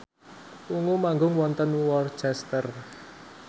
Ungu manggung wonten Worcester